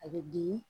A bɛ dimi